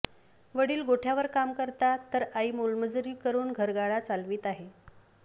वडील गोठय़ावर काम करतात तर आई मोलमजुरी करून घरगाडा चालवीत आहे